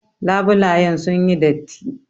Labulayen sun yi datti.